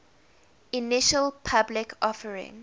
initial public offering